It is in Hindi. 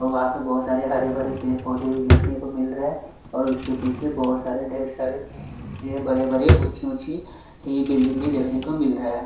वहाँ पर बहोत सारे हरे भरे पेड़-पौधे भी देखने को मिल रहे है और उसके पीछे बहोत सारे ढेर सारे ये बड़े बड़े ऊंची ऊंची बिल्डिंग भी देखने को मिल रहा है।